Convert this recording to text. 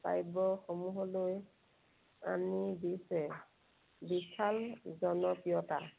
কাব্যসমূহলৈ আনি দিছে বিশাল জনপ্ৰিয়তা।